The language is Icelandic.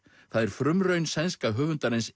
það er frumraun sænska höfundarins